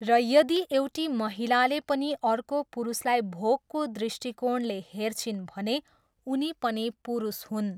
र यदि एउटी महिलाले पनि अर्को पुरुषलाई भोगको दृष्टिकेाणले हेर्छिन् भने उनी पनि पुरुष हुन्।